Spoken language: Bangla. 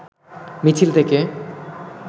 মিছিল থেকে